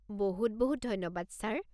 বহুত বহুত ধন্যবাদ ছাৰ।